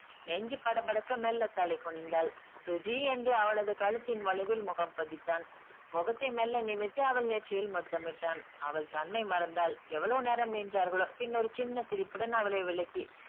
நெஞ்சு படபடக்க மெல்ல தலை குனிந்தாள். சுஜி என்று அவளது கழுத்தின் வளைவில் முகம் பதித்தான். முகத்தை மெல்ல நிமித்தி அவள் நெற்றியில் முத்தமிட்டான். அவள் தன்னை மறந்தாள். எவ்வளவு நேரம் நின்றார்களோ. பின்னர் சின்ன ஒரு சிரிப்புடன் அவளை விலக்கி